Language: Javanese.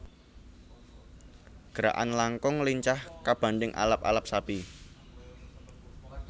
Gerakan langkung lincah kabandhing Alap alap sapi